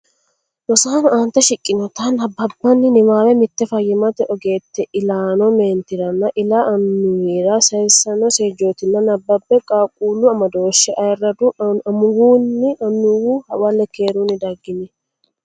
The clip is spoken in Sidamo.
Rosaano aante shiqqinoti nabbanbanni niwaawe mitte fayyimmate ogeette ilaano meentiranna ila annuwira sayissino seejjootina nabbabbe Qaaqquullu Amadooshshe Ayirraddu amuwinna annuwi hawalle keerunni daggini !